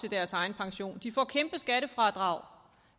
til deres egen pension de får kæmpe skattefradrag